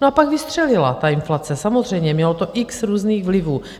No a pak vystřelila ta inflace, samozřejmě mělo to x různých vlivů.